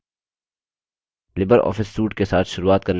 Libre office suite के साथ शुरूआत करने के लिए